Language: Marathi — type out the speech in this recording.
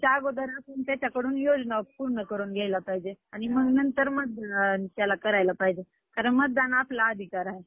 हम्म पाहिजे तेवढे ice cream